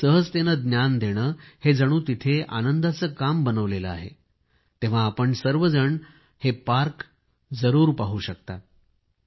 अगदी सहजतेने ज्ञान देणे हे जणू आनंदाचे काम बनवले आहे आपण सर्वजण हे पार्क जरूर पाहू शकता